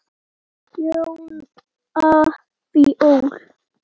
Jóhanna Fjóla.